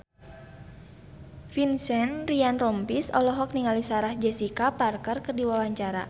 Vincent Ryan Rompies olohok ningali Sarah Jessica Parker keur diwawancara